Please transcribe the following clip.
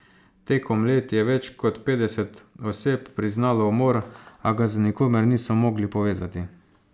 Tekom let je več kot petdeset oseb priznalo umor, a ga z nikomer niso mogli povezati.